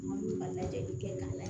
N man n'u ka lajɛli kɛ k'a lajɛ